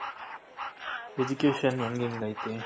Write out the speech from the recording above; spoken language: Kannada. Education ಹೆಂಗಗ್ ಐತೆ